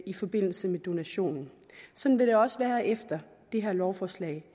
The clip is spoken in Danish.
i forbindelse med donationen sådan vil det også være efter det her lovforslag